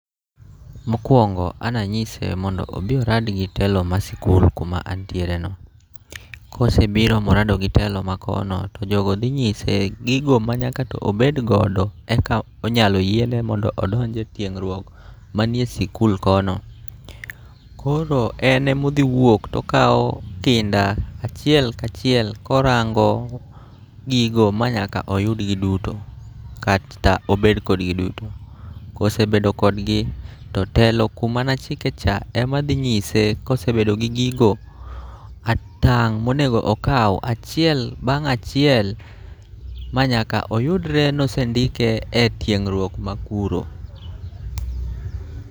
Mokwongo ananyise mondo obi orad gi telo ma sikul kuma antiere no. Kosebiro morado gi telo ma kono to jogo dhi nyise gigo ma nyaka to obed godo, eka onyalo yiene mondo odonje tiegruok manie sikul kono. Koro en emo dhiwuok tokawo kinda achiel kachiel korango gigo ma nyaka oyudgi duto kata obedkodgi duto. Kosebedo kodgi, to telo kumanachike cha ema dhi nyise kosebedo gi gigo, atang' monego okaw achiel bang' achiel ma nyaka oyudre nosendike e tieng'ruok ma kuro.